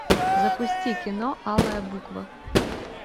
запусти кино алая буква